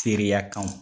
Teriya kan